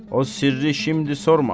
O sirri şimdi sorma.